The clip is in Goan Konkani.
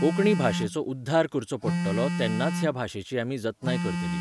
कोंकणी भाशेचो उध्दार करचो पडटलो तेन्नाच ह्या भाशेची आमी जतनाय करतली